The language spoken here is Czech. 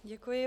Děkuji.